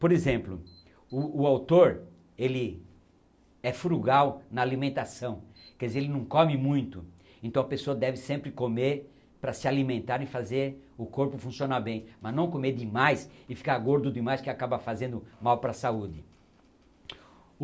Por exemplo, o o autor ele é frugal na alimentação, quer dizer, ele não come muito, então a pessoa deve sempre comer para se alimentar e fazer o corpo funcionar bem, mas não comer demais e ficar gordo demais que acaba fazendo mal para a saúde.